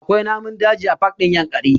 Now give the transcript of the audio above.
Akwai namun daji a pak ɗin Yankari